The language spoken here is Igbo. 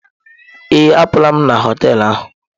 Ee, apụla m na họtel ahụ.